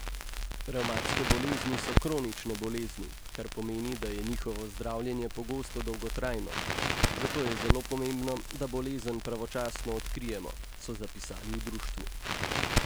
Revmatske bolezni so kronične bolezni, kar pomeni, da je njihovo zdravljenje pogosto dolgotrajno, zato je zelo pomembno, da bolezen pravočasno odkrijemo, so zapisali v društvu.